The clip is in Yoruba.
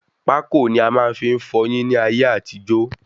Pákò ni a fi máa ń fọyín ní ayé àtijó